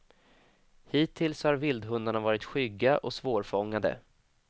Hittills har vildhundarna varit skygga och svårfångade.